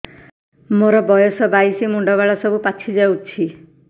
ମୋର ବୟସ ବାଇଶି ମୁଣ୍ଡ ବାଳ ସବୁ ପାଛି ଯାଉଛି